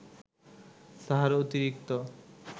তাহার অতিরিক্ত